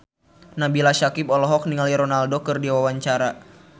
Nabila Syakieb olohok ningali Ronaldo keur diwawancara